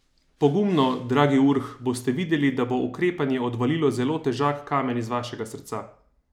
Pogumno, dragi Urh, boste videli, da bo ukrepanje odvalilo zelo težak kamen z vašega srca!